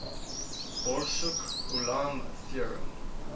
borsuk ulam theorem